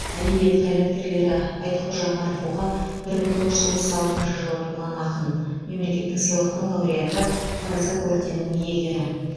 әдебиет қайраткерлері айтхожа марфуға бір мың тоғыз жүз отыз алтыншы жылы туған ақын мемлекеттік сыйлықтың лауреаты парасат орденінің иегері